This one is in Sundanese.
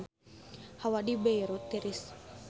Hawa di Beirut tiris